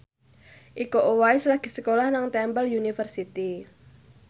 Iko Uwais lagi sekolah nang Temple University